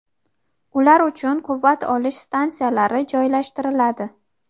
ular uchun quvvat olish stansiyalari joylashtiriladi.